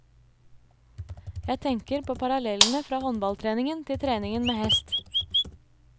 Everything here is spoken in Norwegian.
Jeg tenker på parallellene fra håndballtreningen til treningen med hest.